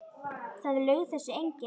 Það laug þessu enginn.